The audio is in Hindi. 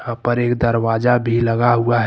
यहां पर एक दरवाजा भी लगा हुआ है।